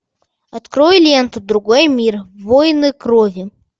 открой ленту другой мир войны крови